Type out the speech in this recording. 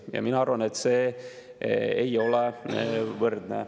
Ja mina arvan, et see ei ole võrdne.